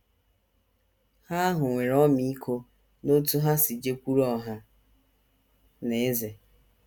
Ha ahụ nwere ọmịiko n’otú ha si jekwuru ọha na eze.